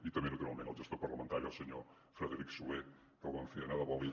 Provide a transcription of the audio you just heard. i també naturalment al gestor parlamentari el senyor frederic soler que el vam fer anar de bòlit